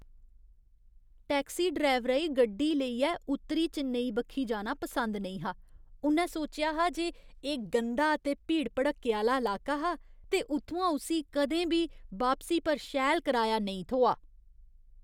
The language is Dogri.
टैक्सी ड्रैवरै ई गड्डी लेइयै उत्तरी चेन्नैई बक्खी जाना पसिंद नेईं हा। उ'न्नै सौचेआ हा जे एह् गंदा ते भीड़ भड़क्के आह्‌ला लाका हा ते उत्थुआं उस्सी कदें बी वापसी पर शैल कराया नेईं थ्होआ।